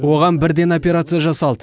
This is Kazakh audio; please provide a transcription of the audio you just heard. оған бірден операция жасалды